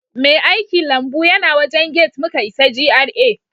Mai aikilambu yana wajen gate muka isa GRA